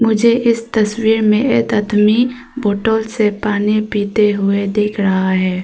मुझे इस तस्वीर में एक अदमी बोटल से पानी पीते हुए देख रहा है।